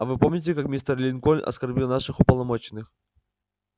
а вы помните как мистер линкольн оскорбил наших уполномоченных